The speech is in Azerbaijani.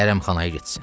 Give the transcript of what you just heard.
hərəmxanaya getsin.